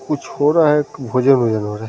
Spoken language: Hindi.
कुछ हो रहा है भोजन-उजन हो रहा है।